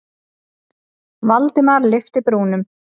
Valdimar lyfti brúnum.